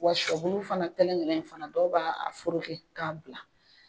Wa shɔ bulu fana kelen kelen in fana dɔw b'a a foroki k'a bila.